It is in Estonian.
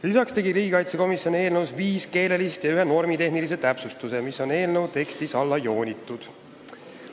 Lisaks tegi riigikaitsekomisjon viis keelelist ja ühe normitehnilise täpsustuse, mis on eelnõu tekstis alla joonitud.